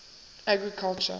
agriculture